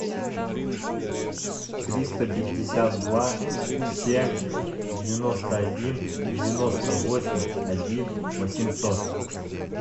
триста пятьдесят два семь девяносто один девяносто восемь один восемьсот